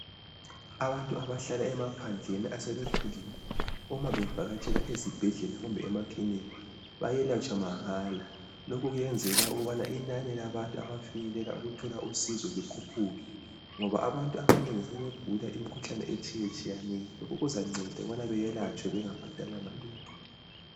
Abantu abahlala emaphandleni asebekhulile uma bevakatshela ezibhedlela kumbe emakilinika bayelatshwa mahala. Lokhu kuyenzelwa ukubana inani labantu abafinyelela ukuthola usizo likhuphuke ngoba abantu abanengi sebegula imikhuhlane etshiyetshiyeneyo. Lokhu kuzanceda ukubana beyelatshwe bengabhadalanga lutho